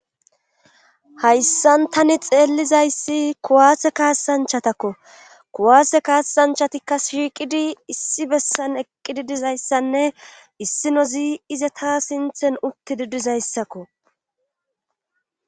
hayssan tani xeellizayssi kuwaase kaasanchatakko kuwaase kaasanchatikka shiiqidi issi bessan eqqidi dizayssanne issino zi ize taa sinthen uttidi dizayssakko